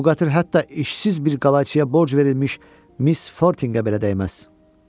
Bu qatır hətta işsiz bir qala ciyə borc verilmiş Miss Fortingə belə dəyməz.